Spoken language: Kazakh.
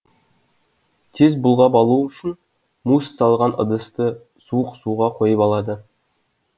тез бұлғап алу үшін мусс салынған ыдысты суық суға қойып алады